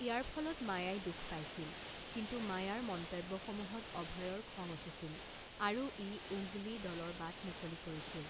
ইয়াৰ ফলত মায়াই দুখ পাইছিল, কিন্তু মায়াৰ মন্তব্যসমূহত অভয়ৰ খং উঠিছিল আৰু ই উংগলী দলৰ বাট মুকলি কৰিছিল।